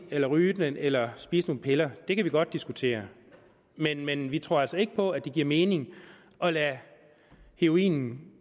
eller ryge den eller spise nogle piller det kan vi godt diskutere men men vi tror altså ikke på at det giver mening at lade heroinen